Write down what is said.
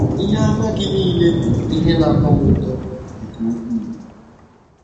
Ihe àmà Gị nile bụ ihe na - atọ m ụtọ nke ukwuu.